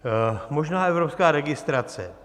Možná evropská registrace.